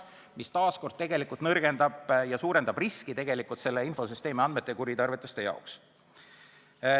See taas kord nõrgendab seda infosüsteemi ja suurendab riski selle andmete kuritarvitusteks.